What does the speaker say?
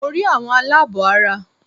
Mo rí àwọn aláàbọ̀ ara